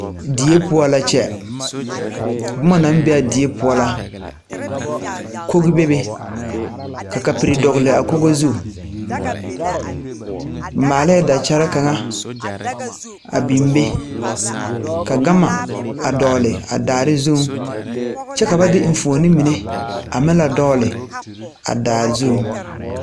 Deɛ pou la kye buma nang be a deɛ pou la kɔg bebe ka kapuri dɔgli a kogo zu maalee dakyere kanga a bing be ka gama a doɔle a daare zung kye ka ba de mfuoni mene a meng le doɔle a daare zung.